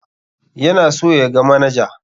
Yana so ya ga manaja.